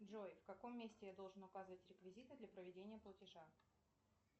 джой в каком месте я должен указывать реквизиты для проведения платежа